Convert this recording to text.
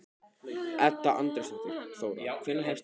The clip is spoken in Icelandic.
Edda Andrésdóttir: Þóra, hvenær hefst athöfnin?